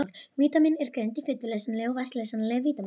Vítamín eru greind í fituleysanleg og vatnsleysanleg vítamín.